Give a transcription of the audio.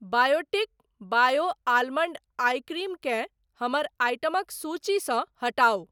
Biotique bio almond eye cream केँ हमर item सूचीसँ हटाउ।